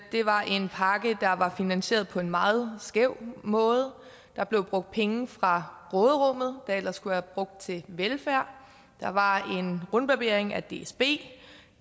det var en pakke der var finansieret på en meget skæv måde der blev brugt penge fra råderummet der ellers skulle have været brugt til velfærd der var en rundbarbering af dsb